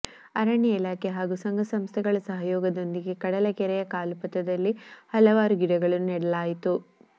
ಅರಣ್ಯ ಇಲಾಖೆ ಹಾಗೂ ಸಂಘ ಸಂಸ್ಥೆಗಳ ಸಹಯೋಗದೊಂದಿಗೆ ಕಡಲಕೆರೆಯ ಕಾಲುಪಥದಲ್ಲಿ ಹಲವಾರು ಗಿಡಗಳನ್ನು ನೆಡಲಾಯಿತು